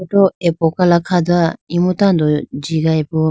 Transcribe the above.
tu apokala kha dowa imu tando ji gayibo.